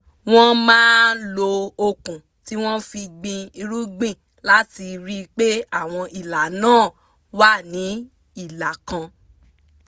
wọ́n máa lo okùn tí wọ́n fi gbìn irúgbìn láti rí pé àwọn ìlà náà wà ní ìlà kan